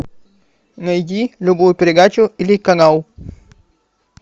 найди любую передачу или канал